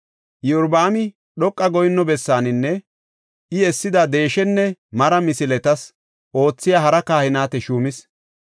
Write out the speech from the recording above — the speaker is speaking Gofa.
Iyorbaami dhoqa goyinno bessaaninne I essida deeshenne mara misiletas oothiya hara kahineta shuumis.